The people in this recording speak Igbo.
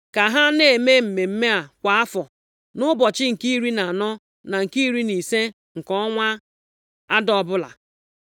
ka ha na-eme mmemme a kwa afọ nʼụbọchị nke iri na anọ na nke iri na ise nke ọnwa Ada ọbụla.